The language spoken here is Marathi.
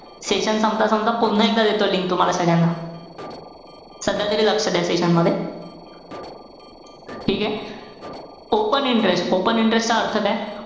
Session संपता-संपता पुन्हा एकदा देतो link तुम्हाला सगळ्यांना. सध्या तरी लक्ष द्या session मध्ये. ठीके? open interest, open interest चा अर्थ काय?